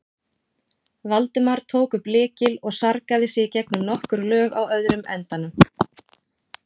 Valdimar tók upp lykil og sargaði sig gegnum nokkur lög á öðrum endanum.